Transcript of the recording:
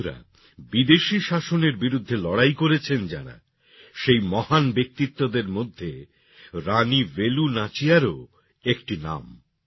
বন্ধুরা বিদেশি শাসনের বিরুদ্ধে লড়াই করেছেন যাঁরা সেই মহান ব্যক্তিত্বদের মধ্যে রানী বেলু নাচিয়ারও একটি নাম